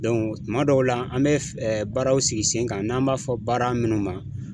tuma dɔw la, an bɛ baaraw sigi sen kan n'an b'a fɔ baara munnu ma